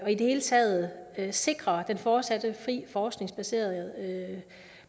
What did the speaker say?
og i det hele taget sikrer den fortsatte fri forskningsbaserede